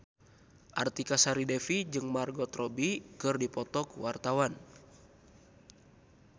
Artika Sari Devi jeung Margot Robbie keur dipoto ku wartawan